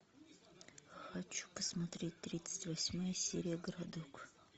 хочу посмотреть тридцать восьмая серия городок